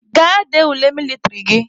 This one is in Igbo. Gaa dee ule mịlịtrị gị!